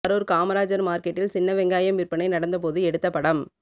கரூர் காமராஜர் மார்க்கெட்டில் சின்னவெங்காயம் விற்பனை நடந்த போது எடுத்த படம்